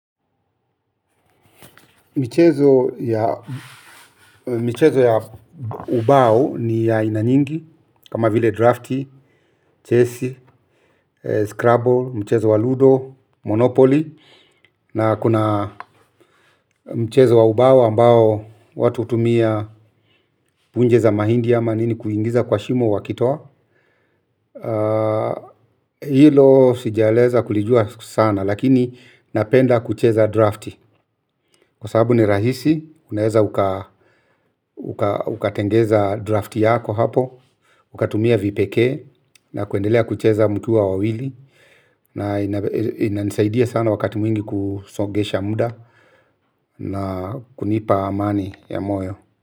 Michezo ya mchezo ya ubao ni ya ina nyingi, kama vile drafti, chesi, scrubble, mchezo wa ludo, monopoly, na kuna mchezo wa ubao ambao watu hutumia punje za mahindi ya ama nini kuingiza kwa shimo wakitoa. Hilo sijaeleza kulijua sana lakini napenda kucheza drafti kwa sababu ni rahisi unaeza ukatengeza drafti yako hapo ukatumia vipekee na kuendelea kucheza mkuwa wawili na inanisaidia sana wakati mwingi kusongesha muda na kunipa amani ya moyo.